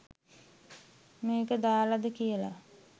මේක දාලද කියල